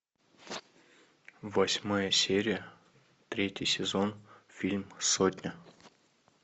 восьмая серия третий сезон фильм сотня